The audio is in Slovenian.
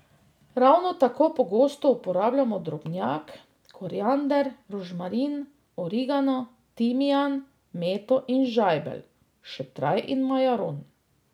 Ravno tako pogosto uporabljamo drobnjak, koriander, rožmarin, origano, timijan, meto in žajbelj, šetraj in majaron.